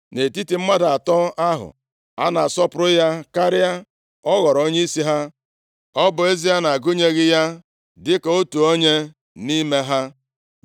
Nʼetiti mmadụ atọ ahụ, a na-asọpụrụ ya karịa, ọ ghọrọ onyeisi ha. Ọ bụ ezie na-agụnyeghị ya dịka otu onye nʼime ha.